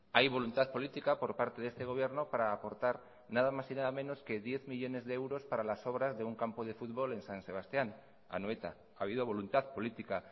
hay voluntad política por parte de este gobierno para aportar nada más y nada menos que diez millónes de euros para las obras de un campo de fútbol en san sebastián anoeta ha habido voluntad política